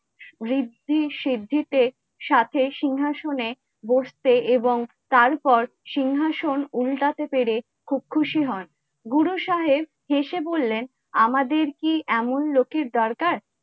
ঋদ্ধি সিদ্ধি তে সাথে সিংহাসনে বসতে এবং তারপর সিংহাসন উল্টাতে পেরে খুব খুশি হন। গুরু সাহেব হেঁসে বলেন, আমাদের কে এমন লোকের দরকার?